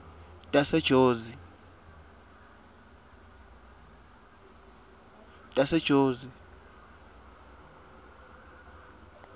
tasejozi